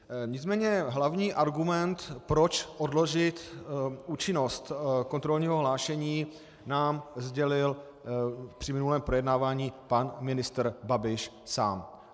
Nicméně hlavní argument, proč odložit účinnost kontrolního hlášení, nám sdělil při minulém projednávání pan ministr Babiš sám.